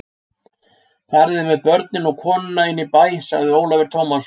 Fariði með börnin og konuna inn í bæ, sagði Ólafur Tómasson.